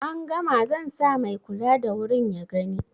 an gama zansa mai kula da wurin ya gani